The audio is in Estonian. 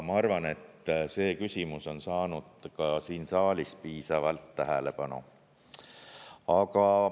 Ma arvan, et see küsimus on saanud ka siin saalis piisavalt tähelepanu.